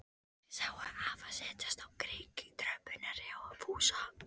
Þær sáu afa setjast á kirkjutröppurnar hjá Fúsa.